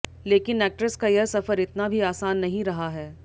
लेकिन एक्ट्रेस का यह सफर इतना भी आसान नहीं रहा है